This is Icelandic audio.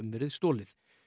verið stolið